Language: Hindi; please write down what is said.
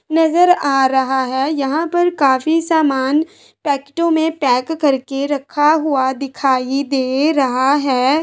नजर आ रहा है यहाँ पर काफी सामान पैकटों में पैक करके रखा हुआ दिखाई दे रहा हैं।